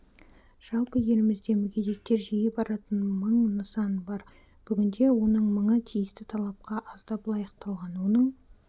жалпы елімізде мүгедектер жиі баратын мың нысан бар бүгінде оның мыңы тиісті талапқа аздап лайықталған оның